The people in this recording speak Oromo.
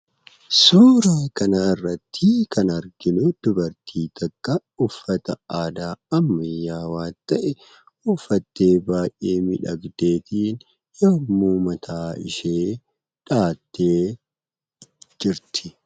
Suuraa kanarrattii kan arginu, dubartii takka uffata aadaa ammayyaawaa ta'e uffattee baay'ee miidhagdeefii yemmuu mataa ishee dhahattee jirti.